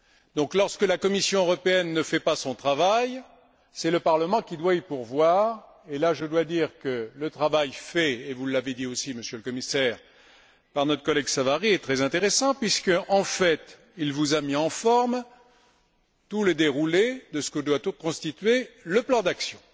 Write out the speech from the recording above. Donc, lorsque la Commission européenne ne fait pas son travail, c'est le Parlement qui doit y pourvoir, et là, je dois dire que le travail fait et vous l'avez dit aussi, Monsieur le Commissaire par notre collègue Savary est très intéressant puisque, en fait, il vous a fourni toute la matière pour constituer le plan d'action.